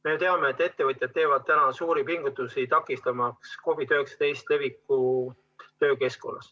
Me teame, et ettevõtjad teevad suuri pingutusi, takistamaks COVID-19 levikut töökeskkonnas.